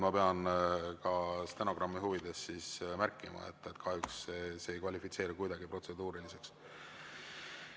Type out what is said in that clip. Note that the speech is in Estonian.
Ma pean ka stenogrammi huvides märkima, et kahjuks see ei kvalifitseeru kuidagi protseduuriliseks.